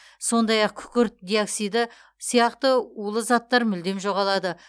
сондай ақ күкірт диоксиді сияқты улы заттар мүлдем жоғалады